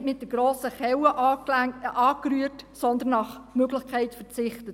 Man hat nicht mit der grossen Kelle angerührt, sondern nach Möglichkeit verzichtet.